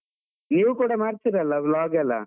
ನೀವು ಕೂಡ ಮಾಡ್ತಿರಲ್ಲ vlog ಎಲ್ಲ?